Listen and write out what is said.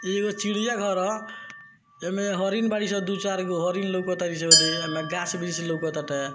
इ एगो चिड़िया घर हअ एमे हरिण बारीसन दू चार गो हरिण लोका तरीसन देखी एमे गाछ वृक्ष लोका ताटे।